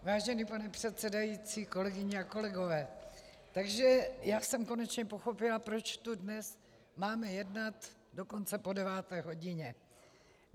Vážený pane předsedající, kolegyně a kolegové, takže já jsem konečně pochopila, proč tu dnes máme jednat dokonce po deváté hodině.